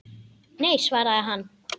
Nei, svaraði hann.